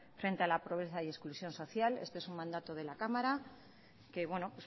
frente a la pobreza y exclusión social este es un mandato de la cámara que bueno